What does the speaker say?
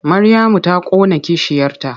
Maryamu ta ƙona kishiyarta.